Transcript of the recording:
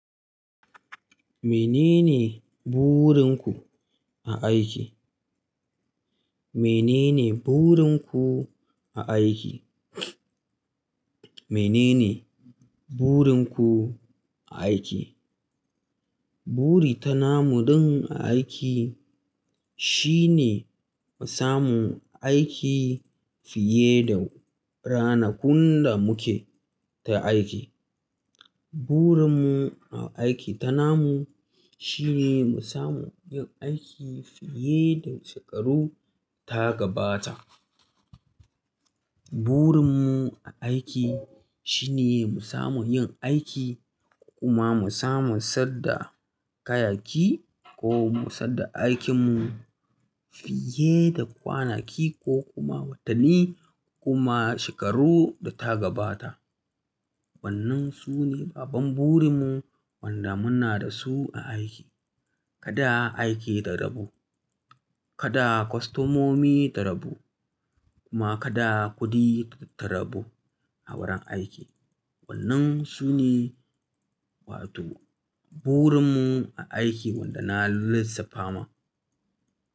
Menene burinku a aiki? Menene burinku a aiki? Menene burinku a aiki? Buri tana muɗin aiki shine mu samu aiki fiye da ranakun da muke ta aiki. Burin mu aiki tana mu shine mu samu yin aiki fiye da shekaru ta gabata. Burin mu aiki shine mu samu yin aiki kuma mu samu saddar kayayyaki ko mu saddar aikin mu fiye da kwanaki ko kuma watanni kuma shekaru da ta gabata. Wannan su ne babban burin mu wanda muna da su a aiki. Kada aiki ta rabu, kada kwastomomi ta rabu kuma kada kuɗi ta rabu a wurin aiki. Wannan su ne wato burin mu a aiki wanda na lissafa ma.